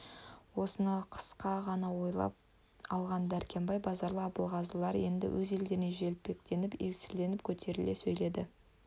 осыны қысқа ғана ойлап алған дәркембай базаралы абылғазылар енді өз елдерін желпінтіп еңселерін көтере сөйледі